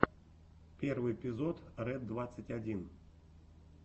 первый эпизод ред двадцать один